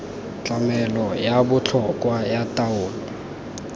tlamelo ya botlhokwa ya taolo